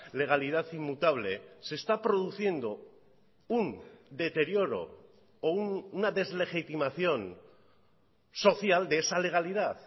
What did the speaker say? legalidad inmutable se está produciendo un deterioro o una deslegitimación social de esa legalidad